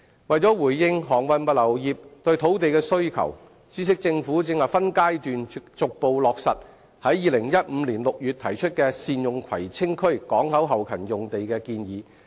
為回應航運物流業對土地的需求，政府正分階段逐步落實於2015年6月提出的善用葵青區港口後勤用地的建議。